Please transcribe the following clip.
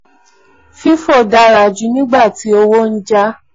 fifo dara ju nigba tí owó n ja b.